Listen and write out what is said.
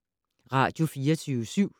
Radio24syv